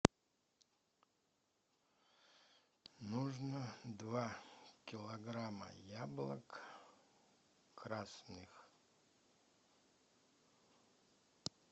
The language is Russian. нужно два килограмма яблок красных